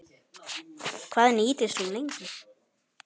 Hvað nýtist hún lengi?